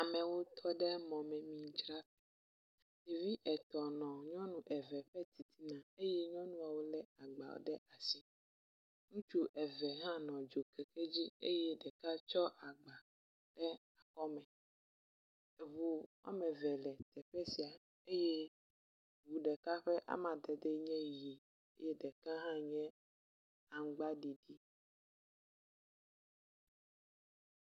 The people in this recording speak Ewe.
Amewo tɔ ɖe mɔmemidzraƒe, ɖevi etɔ̃ nɔ nyɔnu eve ƒe titina eye woŋlɔ nu ɖe agba ɖe asi. Ŋutsu eve hã nɔ dzo keke dzi eye ɖeka tsɔ agba, e kɔme. Eŋu woame eve le teƒe sia eye ŋu ɖeka ƒe amadede nye ʋi eye ɖeka hã nye aŋugbaɖiɖi.